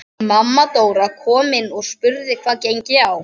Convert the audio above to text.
Mamma Dóra kom inn og spurði hvað gengi á.